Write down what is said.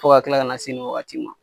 Fo ka kila ka na se ni wagati ma.